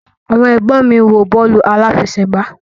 Àwọn ẹ̀gbọ́n mi ń wo bọ́ọ̀lù aláfẹsẹ̀gbá